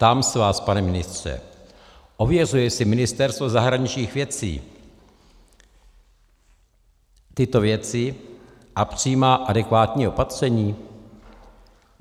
Ptám se vás, pane ministře: Ověřuje si Ministerstvo zahraničních věcí tyto věci a přijímá adekvátní opatření?